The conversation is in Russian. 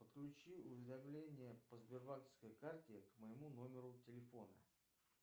подключи уведомления по сбербанковской карте к моему номеру телефона